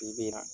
Bi-bi in na